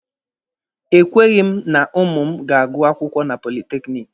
E kweghị m na ụmụ m ga-agụ akwụkwọ na politekiniki.